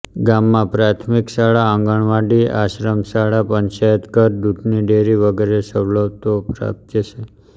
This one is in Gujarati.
ગામમાં પ્રાથમિક શાળા આંગણવાડી આશ્રમશાળા પંચાયતઘર દૂધની ડેરી વગેરે સવલતો પ્રાપ્ય છે